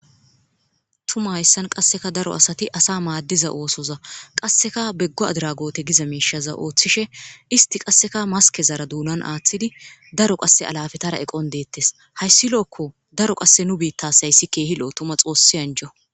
tuma hayssan qasseka daro asati asa maaddiza oosoza qasseka beggo adragoote giza meishaza ooththishe isti qasseka maskezara duunan aaththidi daro qasse alafetara eqon deettes hayssi lo7okko daro qasse nu biittasayssi keehi lo tuma xoossi anjo